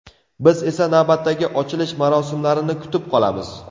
Biz esa navbatdagi ochilish marosimlarini kutib qolamiz!